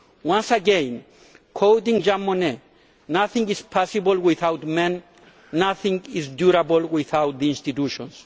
once again, quoting Jean Monnet Nothing is possible without men, nothing is durable without the institutions'.